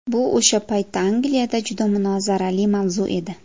Bu o‘sha paytda Angliyada juda munozarali mavzu edi.